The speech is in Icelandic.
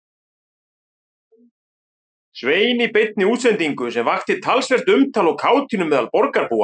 Svein í beinni útsendingu sem vakti talsvert umtal og kátínu meðal borgarbúa.